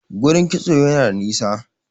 gurin kitso Yana da nisa